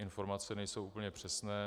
Informace nejsou úplně přesné.